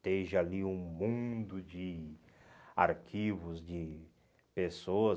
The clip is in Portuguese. esteja ali um mundo de arquivos, de pessoas.